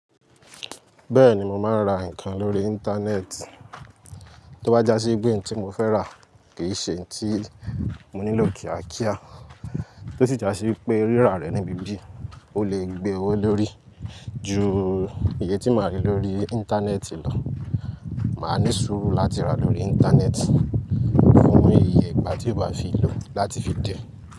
Bẹ́ẹ̀ni mo máa ń ra nǹkan lórí Íńtánẹ́ẹ̀tì. Tó bá já sí wipẹ́ hin tí mo fẹ́ rà kì í ṣe hin ti mo nílò kía kíá. Tó sì já sí wipé rírà rẹ̀ ni bíbí, ó lè gbé owó lórí. Ju iye tí màá rí lórí Íńtánẹ́ẹ̀tì lọ. Màá ní sùúrù láti ra lórí Íńtánẹ́ẹ̀tì fún iyè igba tí ó bá fi lò láti fi dè.